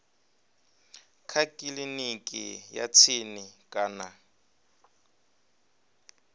kha kiliniki ya tsini kana